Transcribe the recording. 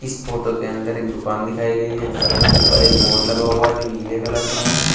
इस फोटो के अंदर एक दुकान दिखाई गई है जिसमें ऊपर एक बोर्ड लगा हुआ है जो नीले कलर का है।